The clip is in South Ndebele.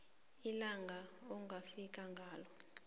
ilanga ongafika ngalo